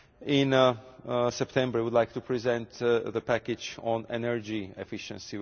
In September, we would like to present the package on energy efficiency.